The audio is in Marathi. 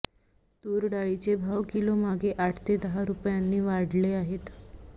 तूर डाळीचे भाव किलोमागे आठ ते दहा रुपयांनी वाढले आहेत